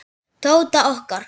Tóta okkar.